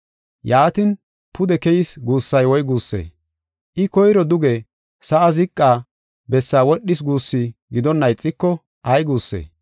Yaatin, “Pude keyis” guussay woy guussee? I koyro duge, sa7aa ziqa bessaa wodhis guussu gidonna ixiko ay guussee?